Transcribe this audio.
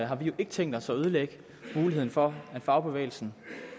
har vi jo ikke tænkt os at ødelægge muligheden for at fagbevægelsen